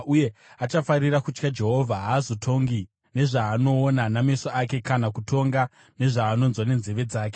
uye achafarira kutya Jehovha. Haazotongi nezvaanoona nameso ake, kana kutonga nezvaanonzwa nenzeve dzake,